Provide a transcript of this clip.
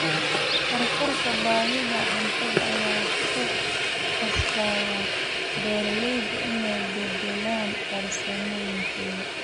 Kororka baahida cuntada ayaa ku qasbaya beeraleyda inay beddelaan farsamooyinkooda.